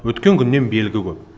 өткен күннен белгі көп